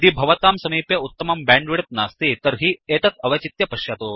यदि भवतां समीपे उत्तमं बैण्डविड्थ नास्ति तर्हि एतत् अवचित्य पश्यतु